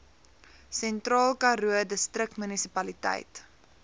sentraal karoo distriksmunisipaliteit